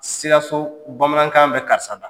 Sikaso bamanankan bɛ karisa da.